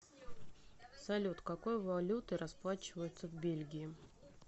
салют какой валютой расплачиваются в бельгии